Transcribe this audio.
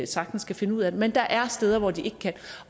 sagtens kan finde ud af det men der er steder hvor de ikke kan